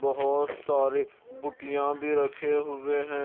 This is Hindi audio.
बोहोत सारी बूटियां भी रखे हुए हैं।